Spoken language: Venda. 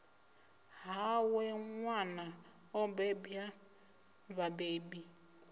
hawe nwana o bebwa vhabebi